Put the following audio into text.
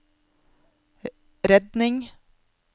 redning